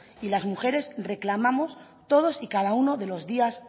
y las mujeres reclamamos todos y cada uno de los días